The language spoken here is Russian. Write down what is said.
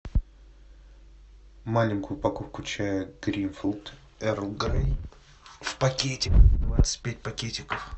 маленькую упаковку чая гринфилд эрл грей в пакетиках двадцать пять пакетиков